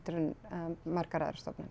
en margar aðrar stofnanir